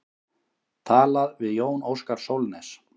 Talað við Jón Óskar Sólnes.